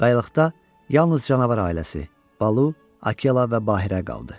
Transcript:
Qayalıqda yalnız canavar ailəsi Balu, Akela və Bahirə qaldı.